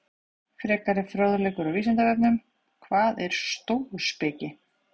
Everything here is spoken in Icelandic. Frekari fróðleikur á Vísindavefnum: Hvað er stóuspeki?